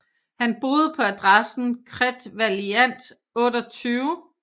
Han boede på adressen Cret Vaillant 28